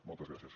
moltes gràcies